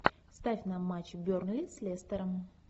ставь на матч бернли с лестером